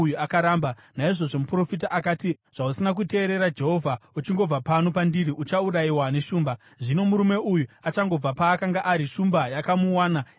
Naizvozvo muprofita akati, “Zvausina kuteerera Jehovha, uchingobva pano pandiri, uchaurayiwa neshumba.” Zvino murume uyu achangobva paakanga ari, shumba yakamuwana ikamuuraya.